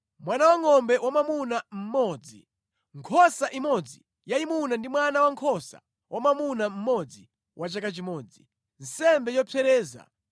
mwana wangʼombe wamwamuna mmodzi, nkhosa imodzi yayimuna ndi mwana wankhosa wamwamuna mmodzi wa chaka chimodzi, nsembe yopsereza;